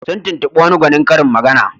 Sun tubtuɓi wani gwanin karin magana.